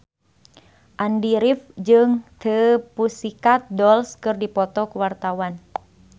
Andy rif jeung The Pussycat Dolls keur dipoto ku wartawan